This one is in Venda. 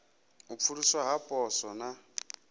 u pfuluswa ha poswo na